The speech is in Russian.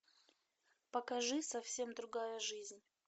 покажи совсем другая жизнь